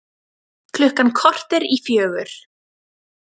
Klukkan korter í fjögur